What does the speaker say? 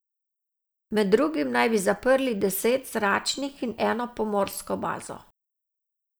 Med drugim naj bi zaprli deset zračnih in eno pomorsko bazo.